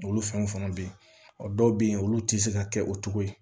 Olu fɛnw fana bɛ yen ɔ dɔw bɛ yen olu tɛ se ka kɛ o cogo ye